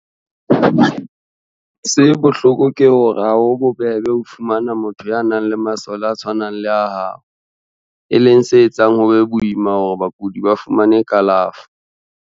Se bohloko ke hore ha ho bobebe ho fumana motho ya nang le masole a tshwanang le a hao, e leng se etsang ho be boima hore bakudi ba fumane kalafo.